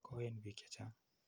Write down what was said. Koen piik che chang'.